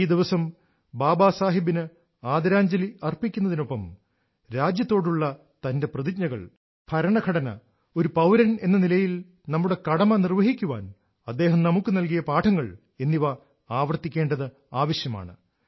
ഈ ദിവസം ബാബാ സാഹിബിന് ആദരാഞ്ജലി അർപ്പിക്കുന്നതിനൊപ്പം രാജ്യത്തോടുള്ള തന്റെ പ്രതിജ്ഞകൾ ഭരണഘടന ഒരു പൌരനെന്ന നിലയിൽ നമ്മുടെ കടമ നിർവഹിക്കാൻ അദ്ദേഹം നമുക്ക് നൽകിയ പാഠങ്ങൾ എന്നിവ ആവർത്തിക്കേണ്ടത് ആവശ്യമാണ്